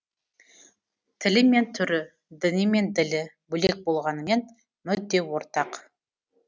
тілі мен түрі діні мен ділі бөлек болғанымен мүдде ортақ